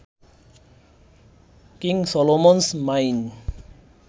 king Solomon's mine